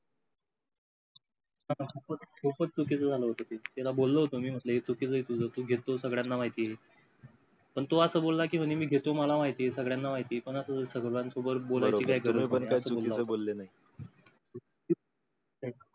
खूपच चुकीचं झालं होत ते. त्याला बोलो होतो मी म्हंटल हे चुकीचं आहे तुझ, तू घेतो हे सगळ्यांना माहिती आहे. पण तो असा बोला कि म्हणे मी घेतो मला माहिती आहे सगळ्यांना माहिती पण अशी सगळ्यांसमोर बोलायची काय गरज? बरोबर आहे तुम्ही पण काही चुकीचे बोले नाही.